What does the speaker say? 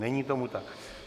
Není tomu tak.